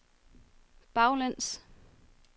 baglæns